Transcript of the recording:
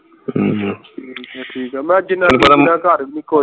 ਠੀਕ ਹੈ ਠੀਕ ਹੈ ਮੈਂ ਜਿਨ੍ਹਾਂ